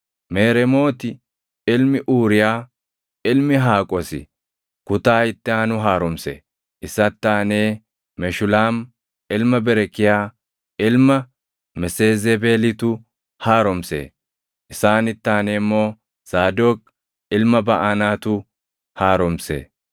Mereemooti ilmi Uuriyaa, ilmi Haqoosi kutaa itti aanu haaromse. Isatti aanee Meshulaam ilma Berekiyaa ilma Meseezebeelitu haaromse; isaanitti aanee immoo Zaadoq ilma Baʼanaatu haaromse.